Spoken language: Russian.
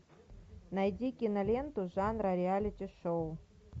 найди киноленту жанра реалити шоу